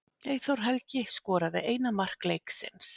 Eyþór Helgi skoraði eina mark leiksins